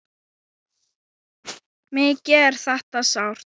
Mikið er þetta sárt.